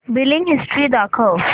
billing history दाखव